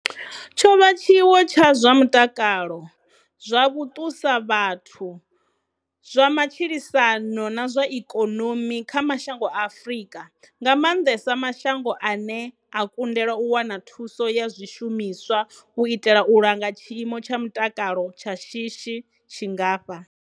Tshovha tshiwo tsha zwa mutakalo, zwa vhutusavhathu, zwa matshilisano na zwa ikonomi kha mashango a Afrika, nga maanḓesa mashango ane a kundelwa u wana thuso ya zwishumiswa u itela u langa tshiimo tsha mutakalo tsha shishi tshingafha.